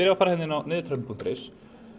fara hérna inn á nidurtroppun punktur is